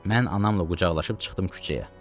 Mən anamla qucaqlaşıb çıxdım küçəyə.